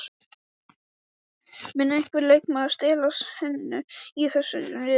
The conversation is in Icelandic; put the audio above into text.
Mun einhver leikmaður stela senunni í þessum riðli?